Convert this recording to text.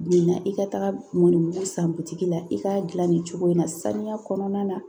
Min na i ka taga mɔnibugu san butigi la i k'a dilan nin cogo in na saniya kɔnɔna na